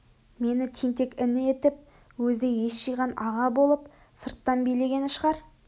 мені тентек іні етіп өзі ес жиған аға болып сырттан билегені шығар